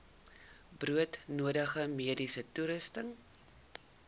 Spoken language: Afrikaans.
broodnodige mediese toerusting